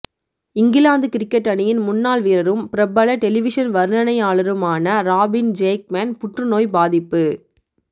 England cricket அணியின் முன்னாள் வீரரும் பிரபல டெலிவிஷன் வர்ணனையாளருமான ராபின் ஜேக்மேன் புற்று நோய் பாதிப்பு